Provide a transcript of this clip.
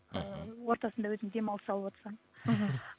ыыы ортасында өзің демалыс алып отсаң мхм